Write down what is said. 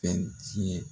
Fɛn tiɲɛ